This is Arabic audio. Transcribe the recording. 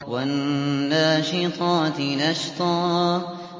وَالنَّاشِطَاتِ نَشْطًا